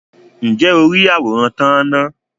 ǹjẹ́ o rí àwòrán tán-án-na?